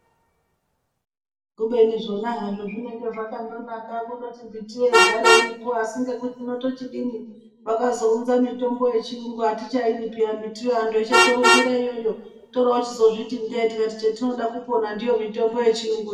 Kundoti zvona izvo zvinenge zvakamgonaka kungoti mbiti igare Iripo asi kungoti asi tochidini vakazounza mitombo yechirungu atichaidi pihya ngekuti antu eshe torumbira iyoyo toroziti ndeye nekuti chatinoda kupona ndiyo kana ndiyo mitombo yechirungu.